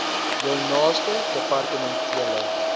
jou naaste departementele